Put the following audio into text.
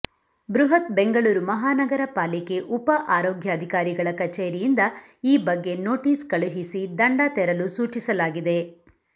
ಬೃಹತ್ ಬೆಂಗಳೂರು ಮಹಾನಗರ ಪಾಲಿಕೆ ಉಪ ಆರೋಗ್ಯಾಧಿಕಾರಿಗಳ ಕಛೇರಿಯಿಂದ ಈ ಬಗ್ಗೆ ನೋಟಿಸ್ ಕಳುಹಿಸಿ ದಂಡ ತೆರಲು ಸೂಚಿಸಲಾಗಿದೆ